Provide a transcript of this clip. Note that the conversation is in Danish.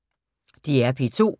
DR P2